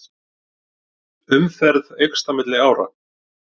Umferð eykst á milli ára